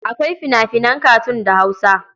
Akwai fina-finan katun da Hausa.